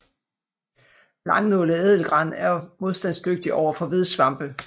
Langnålet ædelgran er modstandsdygtig overfor vedsvampe